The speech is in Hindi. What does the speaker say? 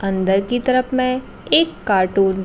अंदर की तरफ में एक कार्टून ।